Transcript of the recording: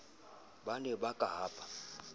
ba ne ba ka hapa